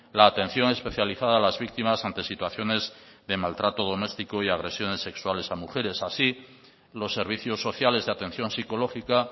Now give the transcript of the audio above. la atención especializada a las víctimas ante situaciones de maltrato doméstico y agresiones sexuales a mujeres así los servicios sociales de atención psicológica